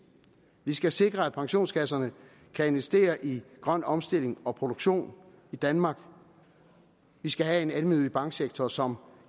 vi skal sikre at pensionskasserne kan investere i grøn omstilling og produktion i danmark vi skal have en almennyttig banksektor som